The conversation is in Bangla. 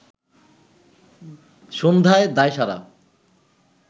সন্ধ্যায় দায়সারা